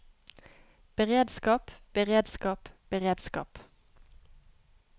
beredskap beredskap beredskap